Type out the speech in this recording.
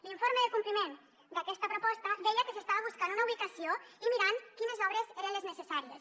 l’informe de compliment d’aquesta proposta deia que s’estava buscant una ubicació i mirant quines obres eren les necessàries